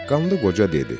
Qanlı Qoca dedi: